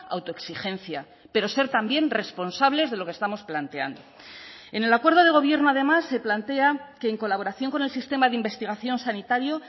autoexigencia pero ser también responsables de lo que estamos planteando en el acuerdo de gobierno además se plantea que en colaboración con el sistema de investigación sanitario